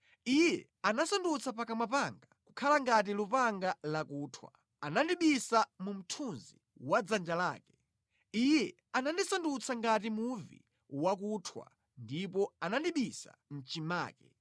Iye anasandutsa pakamwa panga kukhala ngati lupanga lakuthwa, anandibisa mu mthunzi wa dzanja lake; Iye anandisandutsa ngati muvi wakuthwa ndipo anandibisa mʼchimake.